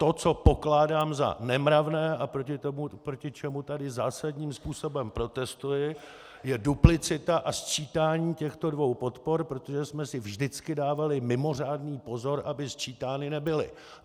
To, co pokládám za nemravné a proti čemu tady zásadním způsobem protestuji, je duplicita a sčítání těchto dvou podpor, protože jsme si vždycky dávali mimořádný pozor, aby sčítány nebyly.